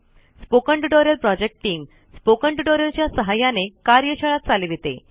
spoken tutorial project team spoken tutorial च्या सहाय्याने कार्यशाळा चालविते